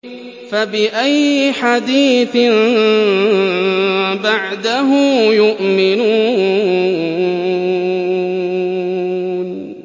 فَبِأَيِّ حَدِيثٍ بَعْدَهُ يُؤْمِنُونَ